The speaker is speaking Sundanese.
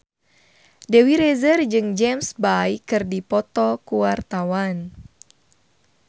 Dewi Rezer jeung James Bay keur dipoto ku wartawan